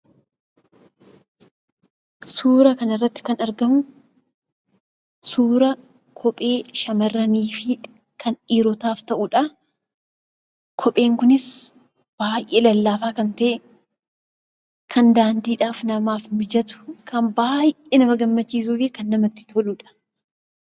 Suuraa kanarratti kan argamu suuraa kophee shamarraniifi kan dhiirotaaf ta'udha. Kopheen kunis baayyee lallaafaa kan ta'e, kan daandiidhaaf namaa mijatu, kan baayyee nama gammachiisuufi namatti toludha.